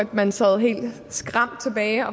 man sad helt skræmt tilbage